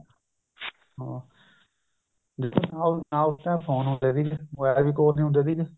ਨਾ ਉਸ time phone ਹੁੰਦੇ ਸੀਗੇ ਮੋਬਾਇਲ ਵੀ ਕੋਲ ਨਹੀਂ ਹੁੰਦੇ ਸੀਗੇ